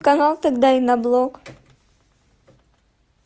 канал тогда и на блок